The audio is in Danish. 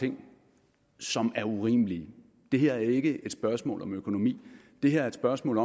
ting som er urimelige det her er ikke et spørgsmål om økonomi det her er et spørgsmål